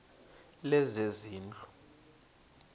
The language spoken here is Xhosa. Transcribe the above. lezezindlu